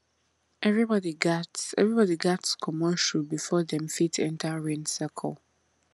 everybody gats everybody gats comot shoe before dem fit enter rain circle